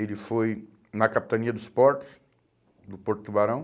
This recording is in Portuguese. Ele foi na Capitania dos Portos, do Porto Tubarão.